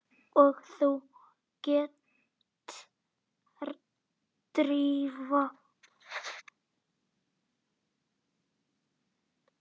Og þú ert Drífa?